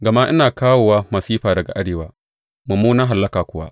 Gama ina kawowa masifa daga arewa, mummunan hallaka kuwa.